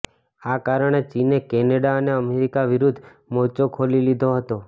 આ કારણે ચીને કેનેડા અને અમેરિકા વિરુદ્ધ મોરચો ખોલી લીધો હતો